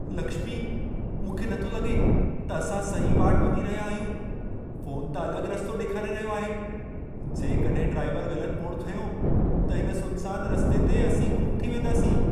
लक्ष्मी, मूंखे नथो लॻे त असां सही वाट वञी रहिया आहियूं। फोन त अलॻ रस्तो ॾेखारे रहियो आहे। जेकॾहिं ड्राइवर ग़लत मोड़ खंयो, त हिन सुनसान रस्ते ते असीं गुम थी वेंदासीं।